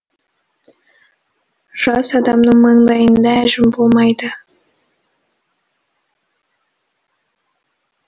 жас адамның маңдайында әжім болмайды